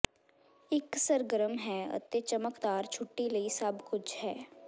ਇੱਕ ਸਰਗਰਮ ਹੈ ਅਤੇ ਚਮਕਦਾਰ ਛੁੱਟੀ ਲਈ ਸਭ ਕੁਝ ਹੈ